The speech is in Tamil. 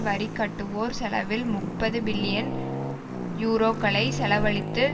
வரி கட்டுவோர் செலவில் முப்பது பில்லியன் யூரோக்களை செலவழித்து